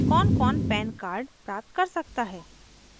कौनकौन pan card प्राप्त कर सकता है